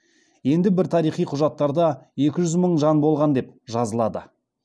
енді бір тарихи құжаттарда екі жүз мың жан болған деп жазылады